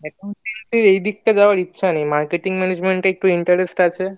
accountancy এর এদিকটায় যাওয়ার ইচ্ছা নেই marketing management এ একটু interest আছে